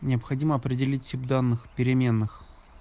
необходимо определить тип данных переменных